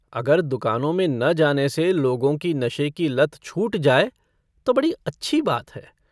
अगर दुकानों में न जाने से लोगों की नशे की लत छूट जाय तो बड़ी अच्छी बात है।